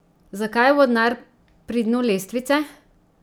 Zakaj je vodnar pri dnu lestvice?